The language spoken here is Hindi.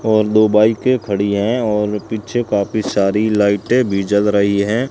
और दो बाईकें खड़ी है और पीछे काफी सारी लाईटें भी जल रही है।